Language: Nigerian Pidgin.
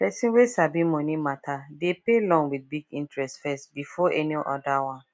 person wey sabi money matter dey pay loan with big interest first before any other one